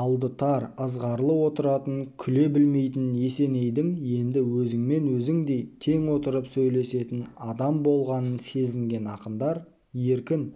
алды тар ызғарлы отыратын күле білмейтін есенейдің енді өзіңмен өзіңдей тең отырып сөйлесетін адам болғанын сезінген ақындар еркін